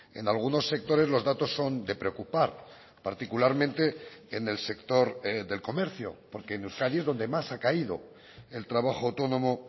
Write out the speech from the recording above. en algunos sectores los datos son de preocupar particularmente en el sector del comercio porque en euskadi es donde más ha caído el trabajo autónomo